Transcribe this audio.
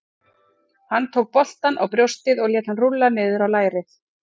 Hann tók boltann á brjóstið og lét hann rúlla niður á lærið.